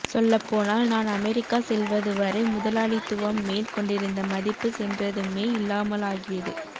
சொல்லப்போனால் நான் அமெரிக்கா செல்வது வரை முதலாளித்துவம் மேல் கொண்டிருந்த மதிப்பு சென்றதுமே இல்லாமலாகியது